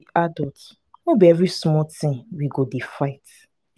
we be adults no be every small thing we go dey fight.